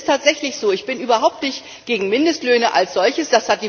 Es ist tatsächlich so, dass ich überhaupt nicht gegen Mindestlöhne als solche bin.